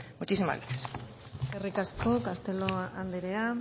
muchísimas gracias eskerrik asko castelo andrea